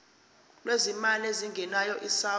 lwezimali ezingenayo isouth